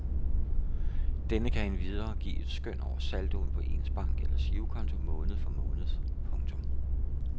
Denne kan endvidere give et skøn over saldoen på ens bank eller girokonto måned for måned. punktum